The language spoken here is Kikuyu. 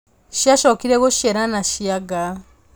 Ciacokire gũciarana cia nga